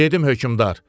Dedim hökmdar.